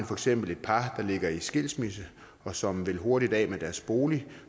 for eksempel et par der ligger i skilsmisse og som vil hurtigt af med deres bolig